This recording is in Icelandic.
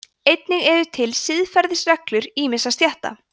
einnig eru til siðareglur ýmissa stétta